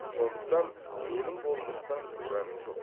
сондықтан менің болмыстан куәм жоқ